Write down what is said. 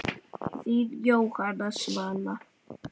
Þín Jóhanna Svala.